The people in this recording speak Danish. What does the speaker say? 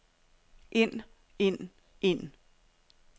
ind ind ind